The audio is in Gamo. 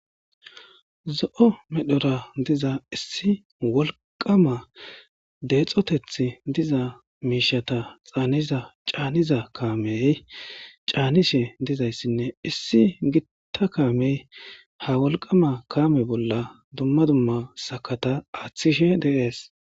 zo7o medhora diza issi wolqama deexoteth diza miishata xaaniza caaniza kaamey caanishe dizayssinne issi gitta kaamey ha wolqama kaame bolla dumma dumma sakata aaththishe deees